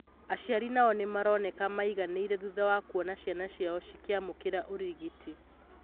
Aciari nao nĩ maroneka maiganĩire thutha wa kuona ciana ciao cikĩamũkĩra ũrĩgiti